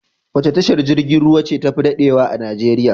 Wace tashar jirgin ruwa ce tafi daɗewa a Najeriya?